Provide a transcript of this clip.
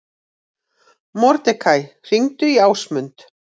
Mordekaí, hringdu í Ásmund.